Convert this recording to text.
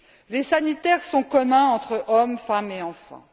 les sanitaires sont communs entre hommes, femmes et enfants.